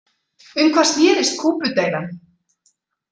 Um hvað snerist Kúbudeilan?